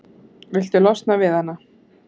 Viltu losna við hana?